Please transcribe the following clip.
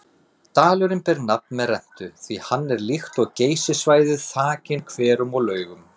Dalurinn ber nafn með rentu því hann er líkt og Geysissvæðið þakinn hverum og laugum.